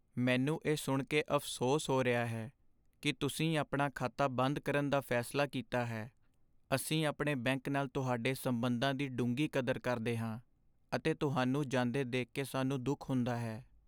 ਮੈਨੂੰ ਇਹ ਸੁਣ ਕੇ ਅਫ਼ਸੋਸ ਹੋ ਰਿਹਾ ਹੈ ਕਿ ਤੁਸੀਂ ਆਪਣਾ ਖਾਤਾ ਬੰਦ ਕਰਨ ਦਾ ਫੈਸਲਾ ਕੀਤਾ ਹੈ। ਅਸੀਂ ਆਪਣੇ ਬੈਂਕ ਨਾਲ ਤੁਹਾਡੇ ਸਬੰਧਾਂ ਦੀ ਡੂੰਘੀ ਕਦਰ ਕਰਦੇ ਹਾਂ ਅਤੇ ਤੁਹਾਨੂੰ ਜਾਂਦੇ ਦੇਖ ਕੇ ਸਾਨੂੰ ਦੁੱਖ ਹੁੰਦਾ ਹੈ।